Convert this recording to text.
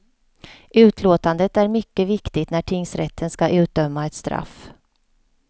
Utlåtandet är mycket viktigt när tingsrätten ska utdöma ett straff.